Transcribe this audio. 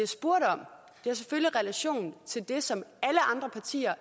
jeg selvfølgelig relation til det som alle andre partier